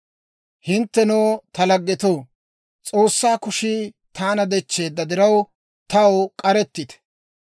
«Hinttenoo ta laggetoo, S'oossaa kushii taana dechcheedda diraw, taw k'arettite.